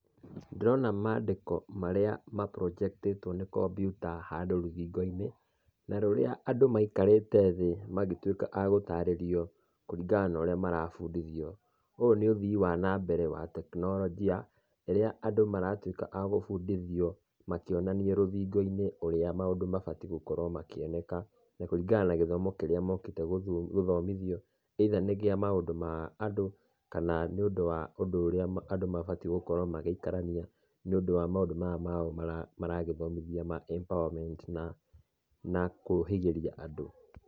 Ndĩrona mandĩko marĩa maburonjektĩtũo nĩ kombiuta handũ rũthingo-inĩ, na rũrĩa andũ maikarĩte thĩ magĩtuĩka a gũtarĩrio, kũringana na ũrĩa marabundithio. Ũyũ nĩ ũthii wa nambere wa teknoronjia, ĩrĩa andũ maratuĩka agũbundithio makĩonanio rũthingo-inĩ, ũrĩa maũndũ mabatiĩ gũkorwo makĩoneka na kũringana na gĩthomo kĩrĩa mokĩte gũthomithio either nĩ kĩa maũndũ ma andũ, kana nĩ ũndũ wa ũndũrĩa andũ mabatiĩ gĩkorwo magĩikarania, nĩũndũ wa maũndũ maya mao maragĩthomithia ma empowerment na na kũhĩgĩria andũ.